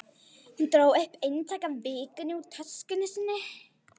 Hún dró eintak af Vikunni upp úr töskunni sinni.